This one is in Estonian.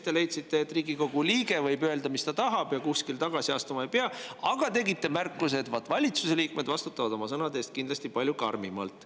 Te leidsite, et Riigikogu liige võib öelda, mida tahab, ja tagasi astuma ei pea, aga tegite märkuse, et vaat valitsuse liikmed vastutavad oma sõnade eest kindlasti palju karmimalt.